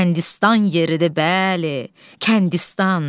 Kəndistan yeridir bəli, Kəndistan.